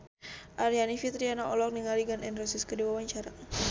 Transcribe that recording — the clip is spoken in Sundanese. Aryani Fitriana olohok ningali Gun N Roses keur diwawancara